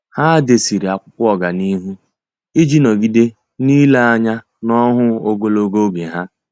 Há dèsere ákwụ́kwọ́ ọ́gànihu iji nọ́gídé n’ílé anya n’ọ́hụ́ụ ogologo oge ha.